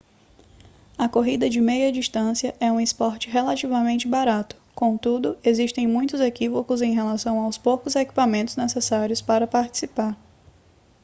a corrida de meia distância é um esporte relativamente barato contudo existem muitos equívocos em relação aos poucos equipamentos necessários para participar